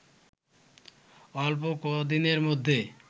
অল্প কদিনের মধ্যে